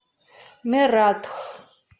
мератх